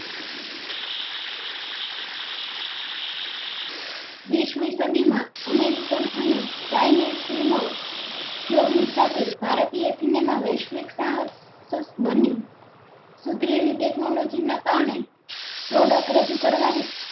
વીસ મી સદી માં american અને chinise ઓ ઉપયોગ ની સાથે ભારતીય cinema વૈશ્વિક સહ્સ્તક બન્યું સુધરેલી technology નાં કારણે product રજુ કરવા ની